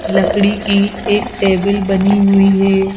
लकड़ी की एक टेबल बनी हुई है।